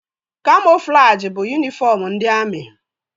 Kamoflajị bụ yunifọm ndị amị